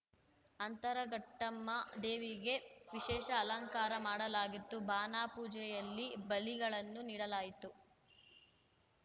ಅಂತರಘಟ್ಟಮ್ಮ ದೇವಿಗೆ ವಿಶೇಷ ಅಲಂಕಾರ ಮಾಡಲಾಗಿತ್ತು ಬಾನಾ ಪೂಜೆಯಲ್ಲಿ ಬಲಿಗಳನ್ನು ನೀಡಲಾಯಿತು